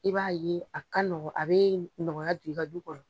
I b'a ye a kanɔgɔn, a bɛ nɔgɔyaya do i ka du kɔnɔ.